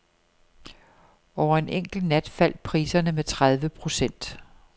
Over en enkelt nat faldt priserne med tredive procent.